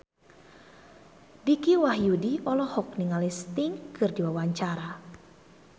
Dicky Wahyudi olohok ningali Sting keur diwawancara